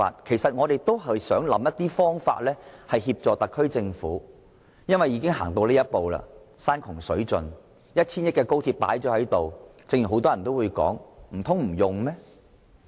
其實，我們只不過是想找些方法協助特區政府，因為既然已經山窮水盡，耗資 1,000 億元的高鐵已經落成，難道真的如很多人所說不去使用嗎？